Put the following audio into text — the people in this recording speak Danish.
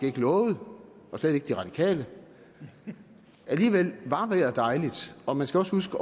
ikke lovet og slet ikke de radikale men alligevel var vejret dejligt og man skal også huske